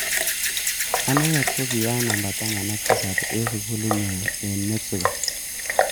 Anendet ko ki a namba taman ak tisab eng sukulit nyu eng Mexico.